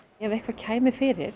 ef eitthvað kæmi fyrir